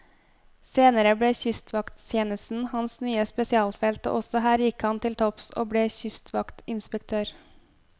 Senere ble kystvakttjenesten hans nye spesialfelt, og også her gikk han til topps, og ble kystvaktinspektør.